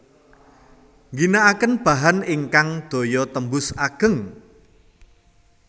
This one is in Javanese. Ngginakaken bahan ingkang daya tembus ageng